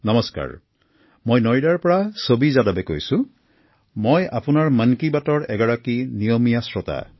নমস্কাৰ মই নয়দাৰ পৰা চাভী যাদৱে কৈছোমই আপোনাৰ মন কী বাতৰ এগৰাকী নিয়মীয়া শ্ৰোতা